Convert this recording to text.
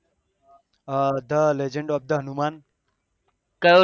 આ the legend of the hanuman